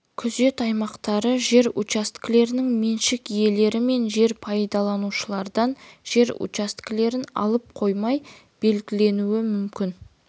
күзет аймақтары жер учаскелерінің меншік иелері мен жер пайдаланушылардан жер учаскелерін алып қоймай белгіленуі мүмкін